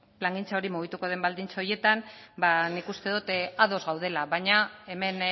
plangintza hori mugituko den baldintza horietan ba nik uste dot ados gaudela baina hemen